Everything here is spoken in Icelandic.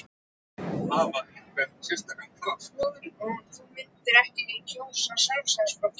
Hugrún: Þú myndir ekki kjósa Sjálfstæðisflokkinn?